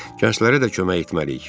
Gənclərə də kömək etməliyik.